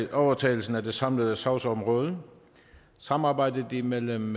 til overtagelsen af det samlede sagsområde samarbejdet imellem